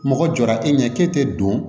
Mɔgɔ jɔra e ɲɛ k'e tɛ don